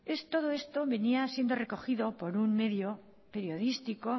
todo esto venía siendo recogido por un medio periodístico